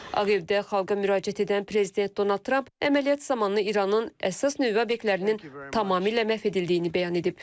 Ağ Evdə xalqa müraciət edən prezident Donald Trump əməliyyat zamanı İranın əsas nüvə obyektlərinin tamamilə məhv edildiyini bəyan edib.